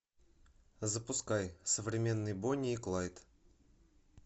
запускай современные бонни и клайд